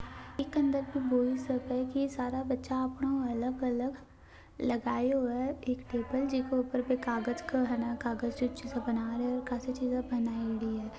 अंदर के बॉयज सारा बच्चा अपना अलग अलग लगये हुए है एक टेबल जो को ऊपर कागज का है कागज की चीज बना रहे है। काफी चीज़े बनायेड़ी है।